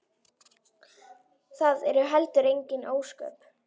Það eru heldur engin ósköp.